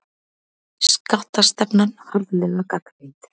Skattastefnan harðlega gagnrýnd